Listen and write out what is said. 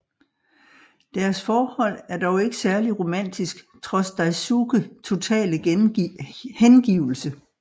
Deres forhold er dog ikke særlig romantisk trods Daisuke totale hengivelse